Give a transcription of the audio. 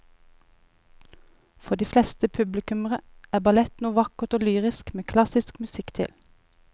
For de fleste publikummere er ballett noe vakkert og lyrisk med klassisk musikk til.